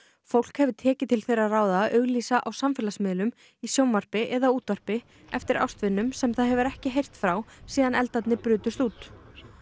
fólk hefur tekið til þeirra ráða að auglýsa á samfélagsmiðlum í sjónvarpi eða útvarpi eftir ástvinum sem það hefur ekki heyrt frá síðan eldarnir brutust út